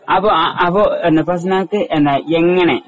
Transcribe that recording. അപ്പൊ ആ ആ ഫസ്നക്കു അപ്പൊ ആ ഫസ്നക്കു എങ്ങനെ